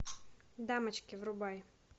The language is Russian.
дамочки врубай